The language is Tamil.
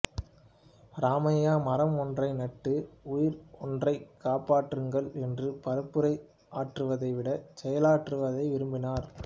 இராமையா மரம் ஒன்றை நட்டு உயிர் ஒன்றைக் காப்பாற்றுங்கள் என்று பரப்புரை ஆற்றுவதைவிடச் செயலாற்றுவதையே விரும்பினார்